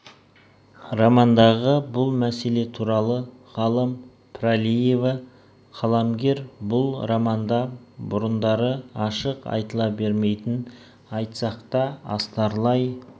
романдағы бұл мәселе туралы ғалым пралиева қаламгер бұл романында бұрындары ашық айтыла бермейтін айтсақ та астарлай